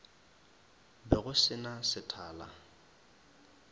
be go se na sethala